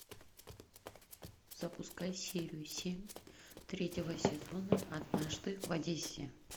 запускай серию семь третьего сезона однажды в одессе